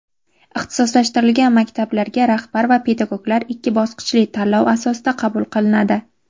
Ixtisoslashtirilgan maktablarga rahbar va pedagoglar ikki bosqichli tanlov asosida qabul qilinadi.